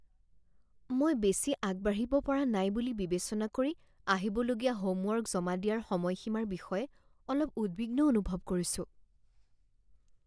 মই বেছি আগবাঢ়িব পৰা নাই বুলি বিবেচনা কৰি আহিবলগীয়া হোমৱৰ্ক জমা দিয়াৰ সময়সীমাৰ বিষয়ে অলপ উদ্বিগ্ন অনুভৱ কৰিছো।